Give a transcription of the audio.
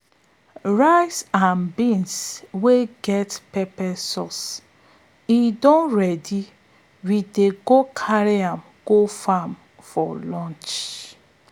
rice and beans wey get pepper sauce e don ready we go carry am go farm for lunch.